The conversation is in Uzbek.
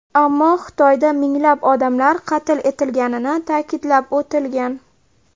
Ammo Xitoyda minglab odamlar qatl etilganini ta’kidlab o‘tilgan.